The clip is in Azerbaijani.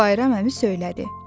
Bayram əmi söylədi: